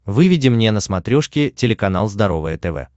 выведи мне на смотрешке телеканал здоровое тв